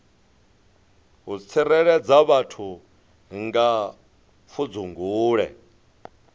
u tsireledza vhathu kha pfudzungule